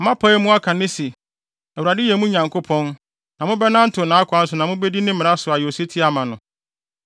Moapae mu aka no nnɛ se, Awurade yɛ, mo Nyankopɔn, na mobɛnantew nʼakwan so na mubedi ne mmara so ayɛ osetie ama no.